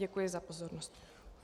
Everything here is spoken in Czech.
Děkuji za pozornost.